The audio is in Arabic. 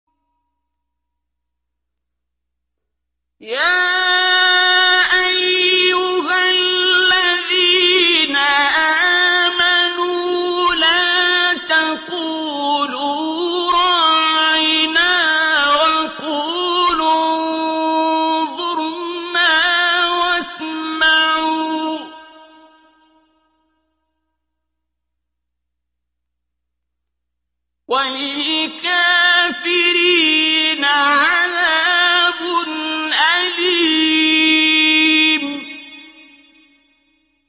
يَا أَيُّهَا الَّذِينَ آمَنُوا لَا تَقُولُوا رَاعِنَا وَقُولُوا انظُرْنَا وَاسْمَعُوا ۗ وَلِلْكَافِرِينَ عَذَابٌ أَلِيمٌ